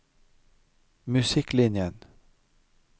musikklinjen